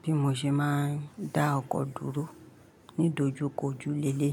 Bí mo ṣe máa ń dá ọkọ̀ dúró nídojúkojú lé lé.